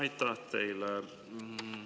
Aitäh teile!